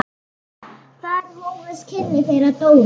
Þar hófust kynni þeirra Dóru.